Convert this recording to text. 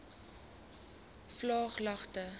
vlaaglagte